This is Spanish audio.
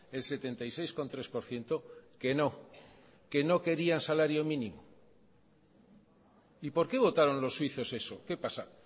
el setenta y seis coma tres por ciento que no que no quería salario mínimo y porqué votaron los suizos eso qué pasa